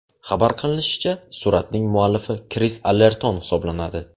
Xabar qilinishicha, suratning muallifi Kris Allerton hisoblanadi.